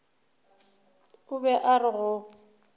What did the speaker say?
o be a re go